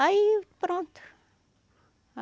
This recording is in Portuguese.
Aí pronto.